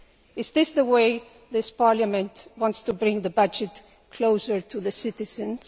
Is this the way this Parliament wants to bring the budget closer to the citizens?